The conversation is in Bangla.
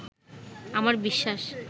আমার বিশ্বাস